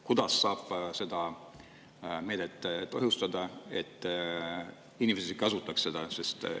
Kuidas saab seda meedet tõhustada, et inimesed kasutaks seda?